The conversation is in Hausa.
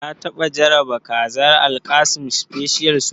Ka taɓa jarraba kazar Alkassim special suya?